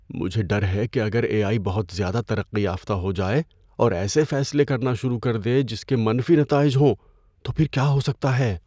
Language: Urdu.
مجھے ڈر ہے کہ اگر اے آئی بہت زیادہ ترقی یافتہ ہو جائے اور ایسے فیصلے کرنا شروع کر دے جس کے منفی نتائج ہوں تو پھر کیا ہو سکتا ہے۔